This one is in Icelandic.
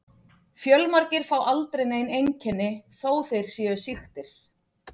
Fjölmargir fá aldrei nein einkenni þó þeir séu sýktir.